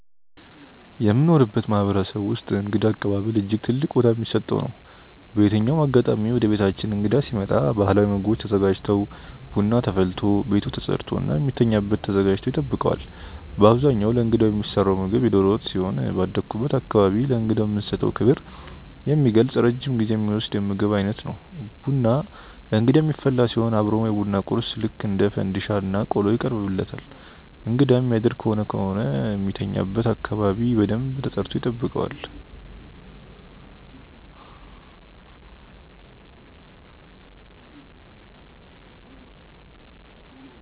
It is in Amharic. የምኖርበት ማህበረሰብ ውስጥእንግዳ አቀባበል እጅግ ትልቅ ቦታ ሚሰጠው ነው። በየትኛውም አጋጣሚ ወደቤታችን እንግዳ ሲመጣ ባህላዊ ምግቦች ተዘጋጅተው፣ ቡና ተፈልቶ፣ ቤቱ ተፀድቶ እና የሚተኛበት ተዘጋጅቶ ይጠብቀዋል። በአብዛኛው ለእንግዳው የሚሰራው ምግብ የዶሮ ወጥ ሲሆን ባደኩበት አካባቢ ለእንግዳው የምንሰጠውን ክብር የሚገልጽ ረጅም ጊዜ ሚወስድ የምግብ ዓይነት ነው። ቡና ለእንግዳ የሚፈላ ሲሆን አብሮም የቡና ቁርስ ልክ እንደ ፈንዲሻ እና ቆሎ ይቀርብለታል እንግዳ የሚያደር ከሆነ ከሆነ የሚተኛበት አካባቢ በደንብ ተጸድቶ ይጠብቀዋል።